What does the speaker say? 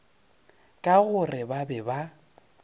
ka gore ba be ba